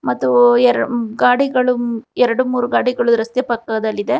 ಮತ್ತು ಎರ್ ಗಾಡಿಗಳು ಮ್ ಎರಡು ಮೂರು ಗಾಡಿಗಳು ರಸ್ತೆ ಪಕ್ಕದಲ್ಲಿದೆ.